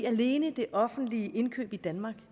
alene det offentlige indkøb i danmark